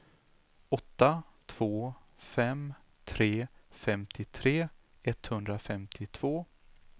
åtta två fem tre femtiotre etthundrafemtiotvå